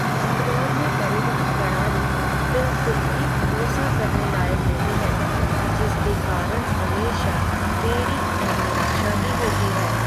बैंगलोर में परिवहन प्रणाली बिलकुल भी भरोसा करने लायक नहीं है, जिसके कारण हमेशा देरी और निराशा ही होती है।